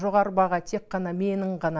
жоғары баға тек қана менің ғана